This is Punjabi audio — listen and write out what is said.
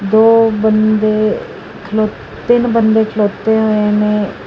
ਦੋ ਬੰਦੇ ਖਲੋ ਤਿੰਨ ਬੰਦੇ ਖਲੋਤੇ ਹੋਏ ਨੇ।